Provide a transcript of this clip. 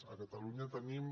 a catalunya tenim